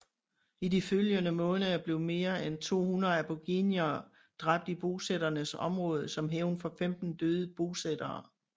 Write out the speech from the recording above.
I de følgende måneder blev mere end 200 aboriginere dræbt i bosætternes områder som hævn for 15 døde bosættere